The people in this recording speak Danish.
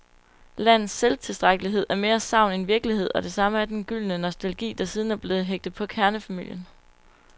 Landets selvtilstrækkelighed er mere sagn end virkelighed, og det samme er den gyldne nostalgi, der siden er blevet hægtet på kernefamilien.